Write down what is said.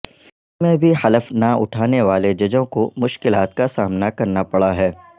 کراچی میں بھی حلف نہ اٹھانے والے ججوں کو مشکلات کا سامنا کرنا پڑا ہے